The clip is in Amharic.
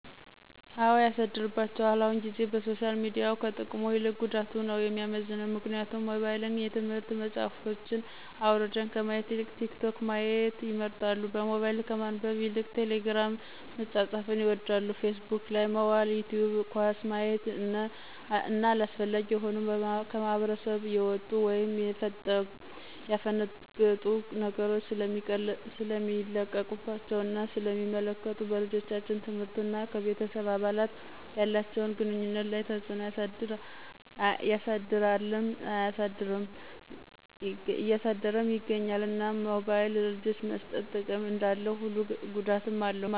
አው ያሳድርባቸዋል አሁን ጊዜ በሶሻል ሚዲያው ከጥቅሙ ይልቅ ጉዳቱ ነው የሚመዝነው ምክንያቱም ሞባይልን የትምህርት መፅሐፎችን አውራድን ከማየት ይልቅ ቲክቶክ ማየት ይመርጣሉ በሞባይል ከማንበብ ይልቅ ቴሊግርም መፃፃፍን ይወዳሉ ፊስቡክ ላይ መዋል ይቲውብ ኳስ ማየት እነ አላስፈላጊ የሆኑ ከማህብረስብ የውጡ ወይም የፈነገጡ ነገሮች ሰለሚለቀቀባቸው እና ስለ ሚመለከቱ በልጆቻችን ትምህርት እና ከቤተሰብ አባላት ያላቸውን ግኑኝነት ላይ ተፅዕኖ ያሰድርልም እያሳደረም ይገኛል። እናም ሞባይል ለልጆች መሰጠት ጥቅም እንዳለው ሁሉ ጉዳትም አለው